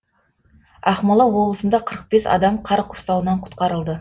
ақмола облысында қырық бес адам қар құрсауынан құтқарылды